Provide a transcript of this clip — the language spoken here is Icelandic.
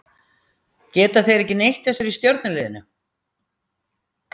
Geta þeir ekki neitt þessir í stjörnuliðinu?